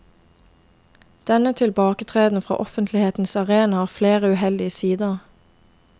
Denne tilbaketreden fra offentlighetens arena har flere uheldige sider.